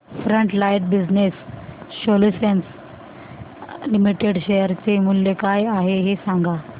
frontline Business Solutions Limited share चे मूल्य काय आहे हे सांगा